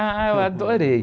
Ah, eu adorei.